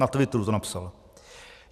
- Na Twitteru to napsal.